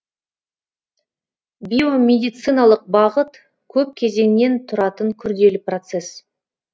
биомедициалық бағыт көп кезеңнен тұратын күрделі процесс